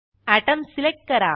atom select करा